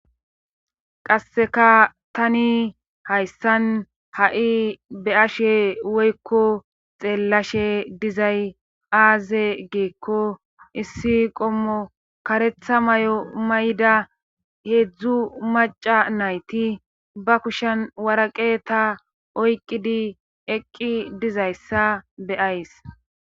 Qasseka tani hayssan ha7i be ashe woykko xeellashe dizay aaze geekko issi qommo karetha may7o mayda heedzdzu maca nayti ba kushen waraqe ta oyqidi eqqi dizayssa beyays.